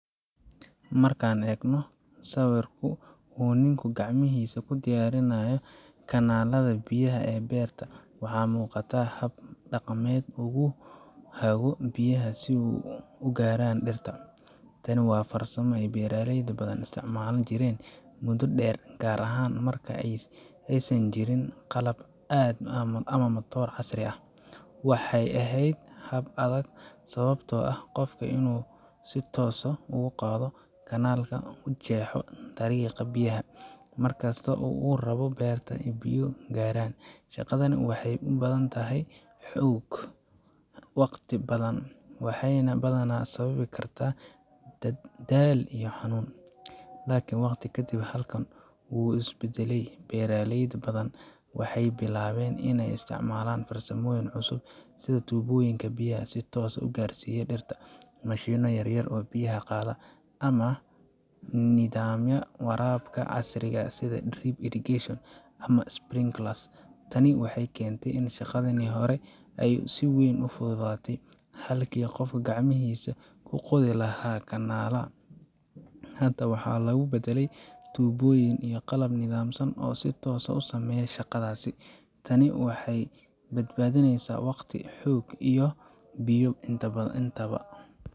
Marka aad eegno sawirku uu ninku gacmihiisa ku diyaarinayo kanaallada biyaha ee beerta, waxaa muuqata hab dhaqameed uu ku hago biyaha si ay u gaaraan dhirta. Tani waa farsamo ay beeraley badan isticmaali jireen muddo dheer, gaar ahaan marka aysan jirin qalab ama matooro casri ah. Waxay ahayd hab adag, sababtoo ah qofka waa inuu si toos ah u qodo kanaalka, u jeexo dariiqa biyaha, markasta oo uu rabo in beerta biyo gaaraan. Shaqadani waxay u badan tahay xoog badan, waqti badan, waxayna badanaa sababi kartaa daal iyo xanuun. Laakiin waqti kadib, habkan wuu is beddelay. Beeraley badan waxay bilaabeen iney isticmaalaan farsamooyin cusub sida tuubooyin biyaha si toos ah u gaarsiiya dhirta, mashiinno yaryar oo biyaha qaada, ama nidaamyada waraabka casriga ah sida drip irrigation ama sprinklers. Tani waxay keentay in shaqadii hore ay si weyn u fududaato. Halkii qofku gacmihiisa ku qodi lahaa kanaal, hadda waxaa lagu badalay tuubooyin iyo qalab nidaamsan oo si toos ah u sameeya shaqadaasi. Taasi waxay badbaadisay waqti, xoog iyo biyo intaba.